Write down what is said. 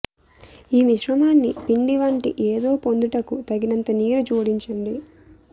ఈ మిశ్రమాన్ని పిండి వంటి ఏదో పొందుటకు తగినంత నీరు జోడించండి